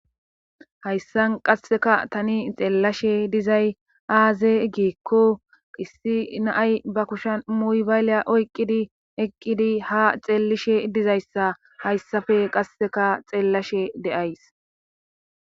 hayssan qasseka tani xeellashe dizay aaze giikko issi naay ba kusha muybayleya oyqqidi eqqidi ha xeellishe dizayssa hayssafe qasseka xeellashe de'ays